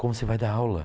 Como você vai dar aula.